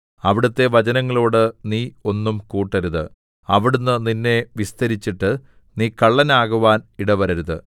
അവിടുത്തെ വചനങ്ങളോട് നീ ഒന്നും കൂട്ടരുത് അവിടുന്ന് നിന്നെ വിസ്തരിച്ചിട്ട് നീ കള്ളനാകുവാൻ ഇടവരരുത്